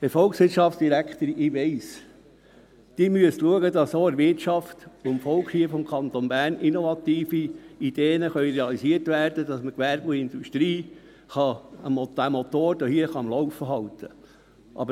– Herr Volkswirtschaftsdirektor, ich weiss: Sie müssen schauen, dass von der Wirtschaft und vom Volk hier im Kanton Bern innovative Ideen realisiert werden können, dass man den Motor von Gewerbe und Industrie am Laufen halten kann.